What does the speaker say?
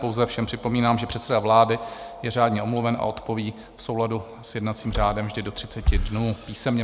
Pouze všem připomínám, že předseda vlády je řádně omluven a odpoví v souladu s jednacím řádem vždy do 30 dnů písemně.